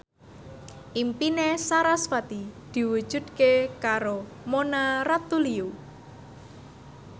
impine sarasvati diwujudke karo Mona Ratuliu